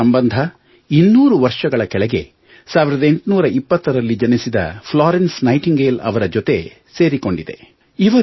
ಇದರ ಸಂಬಂಧ 200 ವರ್ಷದ ಕೆಳಗೆ 1820 ರಲ್ಲಿ ಜನಿಸಿದ ಫ್ಲಾರೆನ್ಸ್ ನೈಟಿಂಗೇಲ್ ಅವರ ಜೊತೆ ಸೇರಿಕೊಂಡಿದೆ